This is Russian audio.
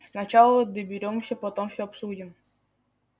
сначала доберёмся потом все обсудим